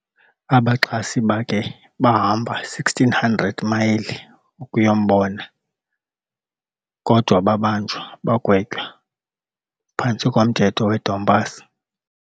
abaxhasi bakhe bahamba 1600 mayile ukuyombona kodwababanjwa bagwetywa phantsi komthetho wedompass.